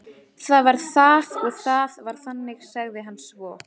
Það var það og það var þannig, sagði hann svo.